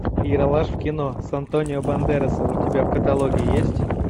ералаш в кино с антонио бандерасом у тебя в каталоге есть